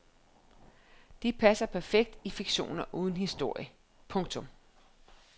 De passer perfekt i fiktioner uden historie. punktum